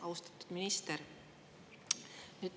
Austatud minister!